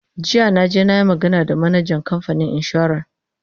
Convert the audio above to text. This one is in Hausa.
jiya na je nayi magana da manajan kamfanin insuran